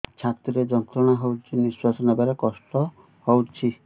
ଛାତି ରେ ଯନ୍ତ୍ରଣା ହଉଛି ନିଶ୍ୱାସ ନେବାରେ କଷ୍ଟ ହଉଛି